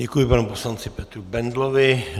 Děkuji panu poslanci Petru Bendlovi.